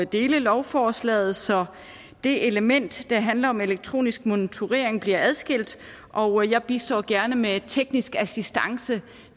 dele lovforslaget så det element der handler om elektronisk monitorering bliver adskilt og jeg bistår gerne med teknisk assistance